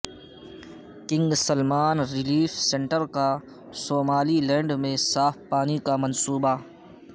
king Salman relief centre کا Somaliland میں صاف پانی کا منصوبہ